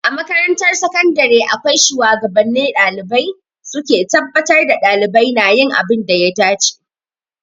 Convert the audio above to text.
A makarantar sakandare akwai shuwagabanni ɗalibai, su ke tabbatar da ɗalibai na yin abin da ya dace.